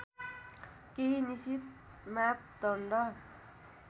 केही निश्चित मापदण्ड